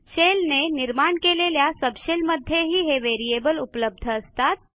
शेलने निर्माण केलेल्या सबशेल मध्येही हे व्हेरिएबल उपलब्ध असतात